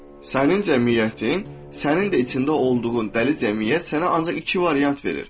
Sənin cəmiyyətin, sənin də içində olduğun dəli cəmiyyət sənə ancaq iki variant verir.